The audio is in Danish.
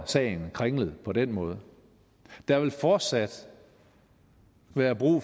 sagen kringlet på den måde der vil fortsat være brug